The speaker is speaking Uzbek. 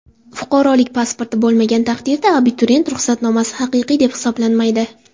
Fuqarolik pasporti bo‘lmagan taqdirda abituriyent ruxsatnomasi haqiqiy deb hisoblanmaydi.